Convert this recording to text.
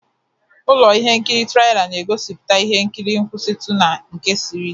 Ụlọ ihe nkiri trila na-egosipụta ihe nkiri nkwụsitu na nke siri ike.